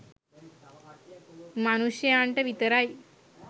මනුෂ්‍යයන්ට විතරයි.